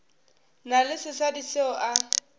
na le sesadi seo a